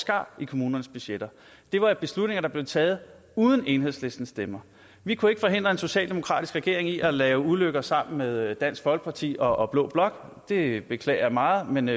skar i kommunernes budgetter det var beslutninger der blev taget uden enhedslistens stemmer vi kunne ikke forhindre en socialdemokratisk regering i at lave ulykker sammen med dansk folkeparti og blå blok det beklager jeg meget men